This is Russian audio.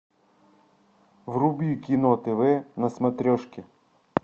вруби кино тв на смотрешке